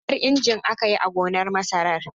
Huɗan injin aka yi a gonar masarar.